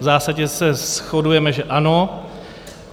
V zásadě se shodujeme, že ano.